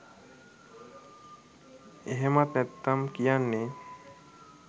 එහෙමත් නැත්නම් කියන්නෙ